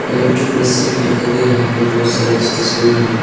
Electric रस्सी भी दिखाई दे रहा है बहुत सारा इस तस्वीर में हमें।